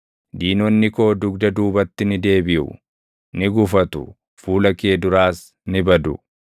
Diinonni koo dugda duubatti ni deebiʼu; ni gufatu; fuula kee duraas ni badu.